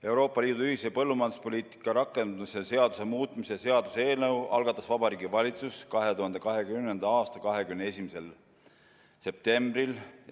Euroopa Liidu ühise põllumajanduspoliitika rakendamise seaduse muutmise seaduse eelnõu algatas Vabariigi Valitsus 2020. aasta 21. septembril.